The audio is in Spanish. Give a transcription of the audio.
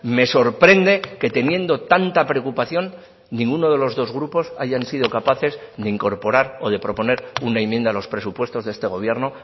me sorprende que teniendo tanta preocupación ninguno de los dos grupos hayan sido capaces de incorporar o de proponer una enmienda a los presupuestos de este gobierno